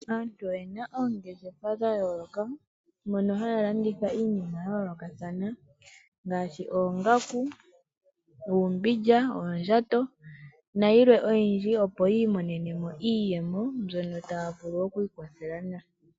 Aantu oye na oongeshefa dha yooloka mono haya landitha iinima ya yoolokathana ngaashi oongaku, uumbindja, oondjato na yilwe oyindji opo yiimonenemo iiyemo mbyono taya vulu okwiikwathela nayo.